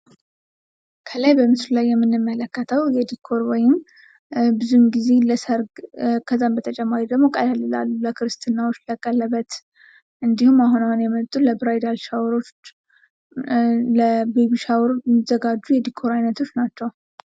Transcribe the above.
ከላይ በምስሉ ላይ የምንመለከተው የድኮር ወይንም ብዙውን ጊዜ ለሰርግ ከዛም በተጨማሪ ደግሞ ቀለል ላሉ ለክርስትናዎች ለቀለበት እንድሁም አሁን አሁን የመጡ ለብራይደር ሻዎሮች ለቤቢ ሻዎር የሚዘጋጁ የድኮር አይነቶች ናቸው።